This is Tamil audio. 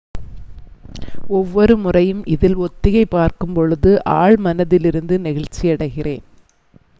"""ஒவ்வொரு முறையும் இதில் ஒத்திகைப்பார்க்கும் பொழுது ஆழ்மனத்திலிருந்து நெகிழ்ச்சியடைகிறேன்.""